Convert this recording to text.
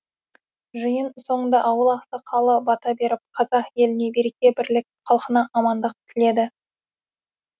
жиын соңында ауыл ақсақалы бата беріп қазақ еліне береке бірлік халқына амандық тіледі